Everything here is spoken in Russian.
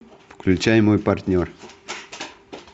включай мой партнер